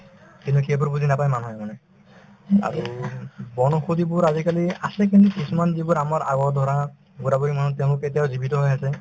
কিন্তু সেইবোৰ বুজি নাপাই মানুহে মানে আৰু বন ঔষধিবোৰ আজিকালি আছে কিন্তু কিছুমান যিবোৰ আমাৰ আগৰ ধৰা বুঢ়া-বুঢ়ি মনত তেওঁলোকে এতিয়াও জীৱিত হৈ আছে